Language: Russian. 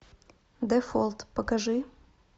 дефолт покажи